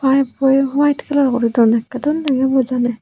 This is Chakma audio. pive poi hyete kalar guri dondey okkry dol degey bo janey.